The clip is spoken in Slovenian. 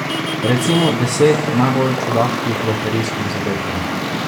Recimo deset najbolj čudaških loterijskih zadetkov.